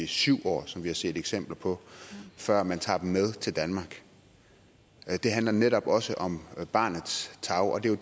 syv år som vi har set eksempler på før man tager dem med til danmark det handler netop også om barnets tarv og det er